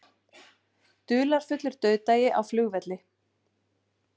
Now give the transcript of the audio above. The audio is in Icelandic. Dularfullur dauðdagi á flugvelli